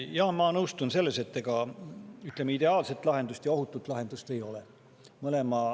Jaa, ma nõustun, et ideaalset ja ohutut lahendust ei ole.